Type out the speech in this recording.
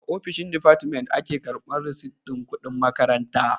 A ofishin difatimen a ke karɓan risit ɗin kuɗin makaranta.